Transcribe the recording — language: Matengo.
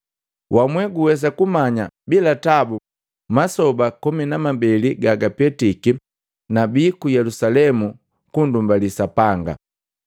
Wamwe guwesa kumanya bila tabu masoba komi na mabeli gapetiki nabii ku Yelusalemu kundumbali Sapanga.